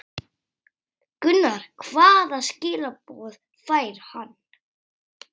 Gunnar: Hvaða skilaboð fær hann?